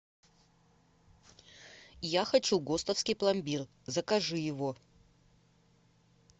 я хочу гостовский пломбир закажи его